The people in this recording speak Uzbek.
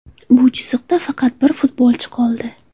Bu chiziqda faqat bir futbolchi qoldi.